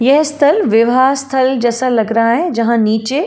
यह स्थल विवाह स्थल जैसा लग रहा है जहाँ नीचे--